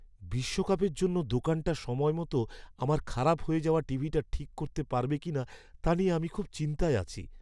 বিশ্বকাপের জন্য দোকানটা সময়মতো আমার খারাপ হয়ে যাওয়া টিভিটা ঠিক করতে পারবে কিনা তা নিয়ে আমি খুব চিন্তায় আছি।